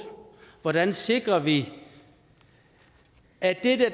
hvordan sikrer vi at